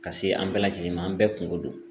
Ka se an bɛɛ lajɛlen ma an bɛɛ kungo don